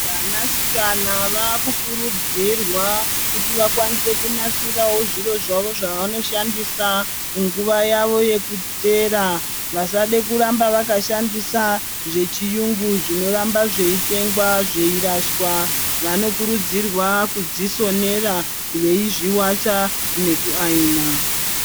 Vana sikana vakukurudzirwa kuti vakwanise kunasirawo zviro zvavo zvavanoshandisa munguva yavo yekuteera vasade kuramba vakashandisa zvechiyungu zvinoramba zveyitengwa zveyirashwa vanokuridzirwa kudzisonera veyizviwacha neku ayina.